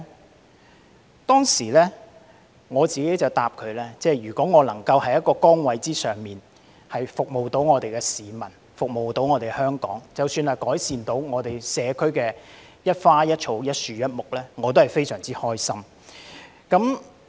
我當時回答說，如果我能夠在一個崗位上服務香港市民和服務香港，即使只是改善社區的一花一草、一樹一木，我也感到非常開心。